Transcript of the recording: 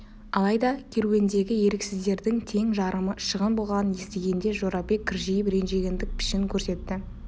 алайда керуендегі еріксіздердің тең жарымы шығын болғанын естігенде жорабек кіржиіп ренжігендік пішін көрсетті